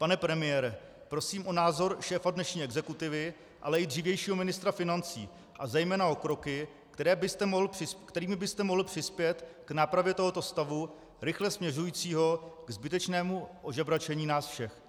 Pane premiére, prosím o názor šéfa dnešní exekutivy, ale i dřívějšího ministra financí a zejména o kroky, kterými byste mohl přispět k nápravě tohoto stavu, rychle směřujícího ke zbytečnému ožebračení nás všech.